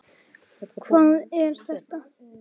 Hvað er þetta!